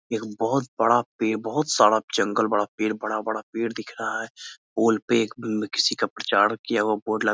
एक बहुत बड़ा पेड़ बहुत सारा जंगल बड़ा पेड़ बड़ा-बड़ा पेड़ दिख रहा हैं पोल पे एक किसी का प्रचार किया बोर्ड ल --